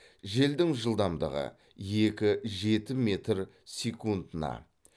желдің жылдамдығы екі жеті метр секундына